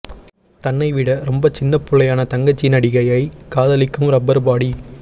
தன்னை விட ரொம்ப சின்னப்புள்ளையான தங்கச்சி நடிகையை காதலிக்கும் ரப்பர் பாடி